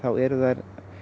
eru þær